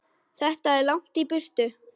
Þetta er langt í burtu.